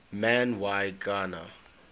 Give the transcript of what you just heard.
man y gana